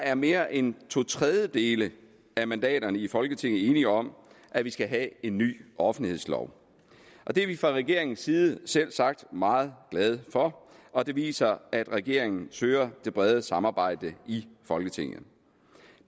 er mere end to tredjedele af mandaterne i folketinget enige om at vi skal have en ny offentlighedslov det er vi fra regeringens side selvsagt meget glade for og det viser at regeringen søger det brede samarbejde i folketinget